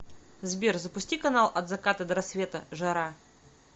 сбер запусти канал от заката до рассвета жара